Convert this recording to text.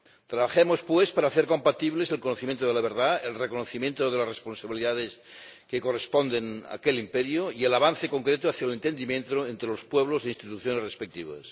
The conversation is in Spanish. Trabajemos, pues, para hacer compatibles el conocimiento de la verdad, el reconocimiento de las responsabilidades que corresponden a aquel imperio y el avance concreto hacia el entendimiento entre los pueblos e instituciones respectivos.